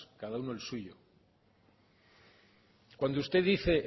cada uno el suyo cuando usted dice